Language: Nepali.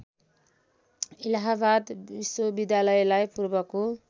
इलाहाबाद विश्वविद्यालयलाई पूर्वको